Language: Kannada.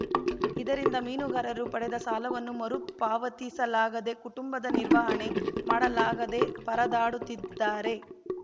ಇದರಿಂದ ಮೀನುಗಾರರು ಪಡೆದ ಸಾಲವನ್ನು ಮರುಪಾವತಿಸಲಾಗದೇ ಕುಟುಂಬದ ನಿರ್ವಹಣೆ ಮಾಡಲಾಗದೇ ಪರದಾಡುತ್ತಿದ್ದಾರೆ